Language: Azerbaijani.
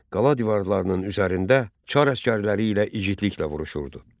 Qala divarlarının üzərində çar əsgərləri ilə igidliklə vuruşurdu.